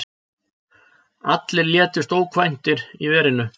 Allir létust ókvæntir í verinu.